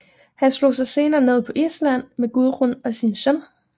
Han slog sig senere ned på Island med Gudrun og sin søn